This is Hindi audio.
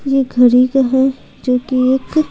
ये घरी का है जो कि एक--